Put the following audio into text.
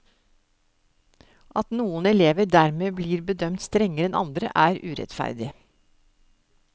At noen elever dermed blir bedømt strengere enn andre, er urettferdig.